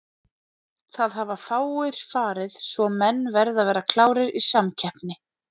Það hafa fáir farið svo menn verða að vera klárir í samkeppni.